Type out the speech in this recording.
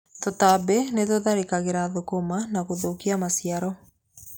Tũtambi nĩtũtharĩkagĩra thũkũma na gũthũkia maciaro.